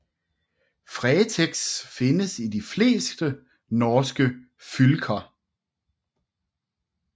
Fretex findes i de fleste norske fylker